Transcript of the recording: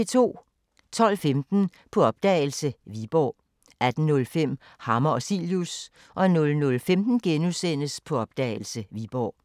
12:15: På opdagelse – Viborg 18:05: Hammer og Cilius 00:15: På opdagelse – Viborg *